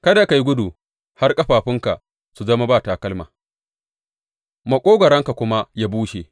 Kada ka yi gudu har ƙafafunka su zama ba takalma maƙogwaronka kuma ya bushe.